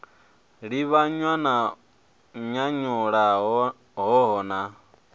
livhanywa na nyanyulaho hoho na